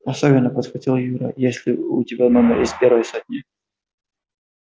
особенно подхватил юра если у тебя номер из первой сотни